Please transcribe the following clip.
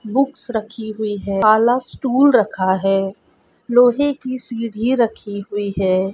Books रखी हुई है काला स्टूल रखा है लोहे की सीडी रखी हुई है।